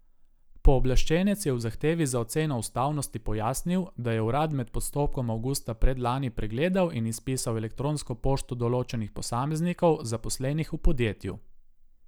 Pooblaščenec je v zahtevi za oceno ustavnosti pojasnil, da je urad med postopkom avgusta predlani pregledal in izpisal elektronsko pošto določenih posameznikov, zaposlenih v podjetju.